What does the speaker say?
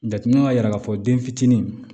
Jateminaw y'a yira k'a fɔ den fitinin